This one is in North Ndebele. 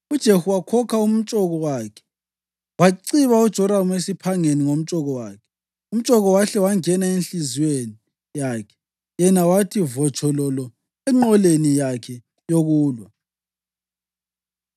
UJehu wakhokha umtshoko wakhe waciba uJoramu esiphangeni ngomtshoko wakhe. Umtshoko wahle wangena enhliziyweni yakhe yena wathi votshololo enqoleni yakhe yokulwa.